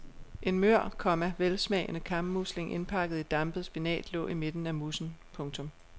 En mør, komma velsmagende kammusling indpakket i dampet spinat lå i midten af moussen. punktum